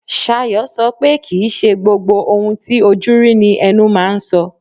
Sayo, so pe kìí ṣe gbogbo ohun ti ojú rí ní ẹnu máa ń so.